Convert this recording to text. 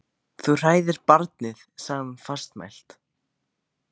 Þú hræðir barnið, sagði hún fastmælt.